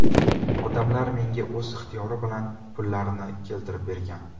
Odamlar menga o‘z ixtiyori bilan pullarini keltirib bergan.